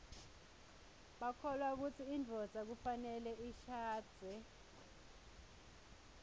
bakholwa kutsi indvodza kufanele ishadze